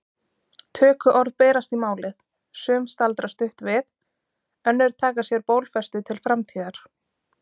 Tökuorð berast í málið, sum staldra stutt við, önnur taka sér bólfestu til framtíðar.